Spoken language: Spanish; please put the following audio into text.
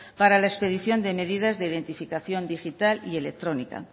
para la expedición de medidas de identificación digital y electrónica